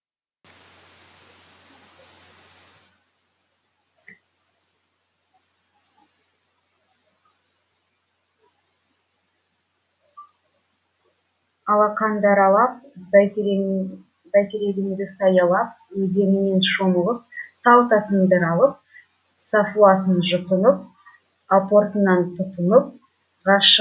алақанда даралап бәйтерегіңді саялап өзеніңе шомылып тау тасыңды аралап саф ауасын жұтынып апортынан тұтынып ғашық